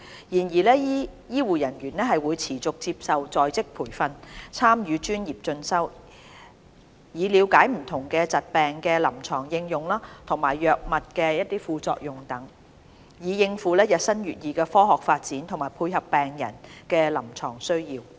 然而，醫護人員會持續接受在職培訓，參與專業進修，以了解不同疾病的臨床應用和藥物的副作用等，以應付日新月異的科學發展和配合病人的臨床需要。